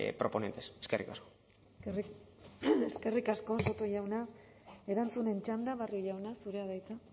proponentes eskerrik asko eskerrik asko soto jauna erantzunen txanda barrio jauna zurea da hitza